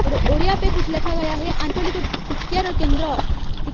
ओढ़िया पे कुछ लिखा गया है।